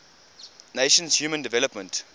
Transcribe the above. nations human development